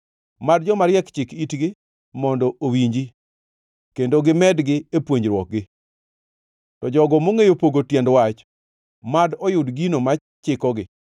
Mad jomariek chik itgi mondo owinji kendo gimedgi e puonjruokgi, to jogo mongʼeyo pogo tiend wach mad oyud gino ma chikogi,